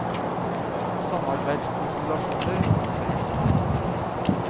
Samarbeidskonstellasjoner kommer til å endre seg.